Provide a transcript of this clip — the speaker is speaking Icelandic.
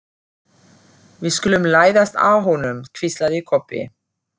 Við skulum læðast að honum, hvíslaði Kobbi.